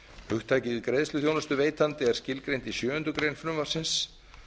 hugtakið greiðsluþjónustuveitandi er skilgreint í sjöundu greinar frumvarpsins